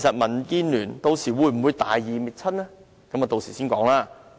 民建聯會否大義滅親，留待稍後再談。